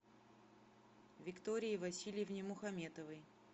виктории васильевне мухаметовой